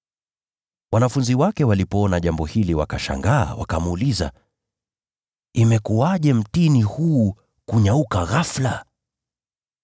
Wanafunzi wake walipoona jambo hili, wakashangaa, wakamuuliza, “Imekuwaje mtini huu kunyauka ghafula?”